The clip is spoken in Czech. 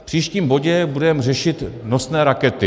V příštím bodě budeme řešit nosné rakety.